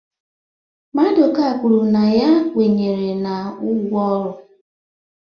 Maduka kwuru na ya kwenyere na ugwu ọrụ